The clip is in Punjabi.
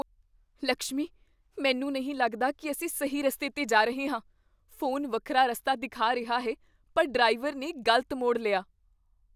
ਲਕਸ਼ਮੀ, ਮੈਂ ਨਹੀਂ ਲੱਗਦਾ ਕੀ ਅਸੀਂ ਸਹੀ ਰਸਤੇ 'ਤੇ ਜਾ ਰਹੇ ਹਾਂ। ਫੋਨ ਵੱਖਰਾ ਰਸਤਾ ਦਿਖਾ ਰਿਹਾ ਹੈ ਪਰ ਡਰਾਈਵਰ ਨੇ ਗ਼ਲਤ ਮੋੜ ਲਿਆ।